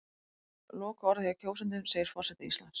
Lokaorðið hjá kjósendum segir forseti Íslands